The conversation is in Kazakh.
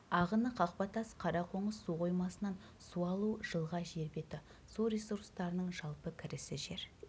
ағыны қақпатас қарақоңыз су қоймасынан су алу жылға жер беті су ресурстарының жалпы кірісі жер